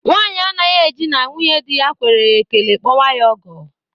Nwanyi anaghị eji na nwunyedi ya kwere ya ekele kpọwa ya ọgọ